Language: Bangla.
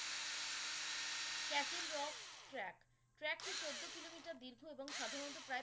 Castle rock track, track টি চোদ্দো কিলোমিটার দীর্ঘ এবং সাধারণত প্রায়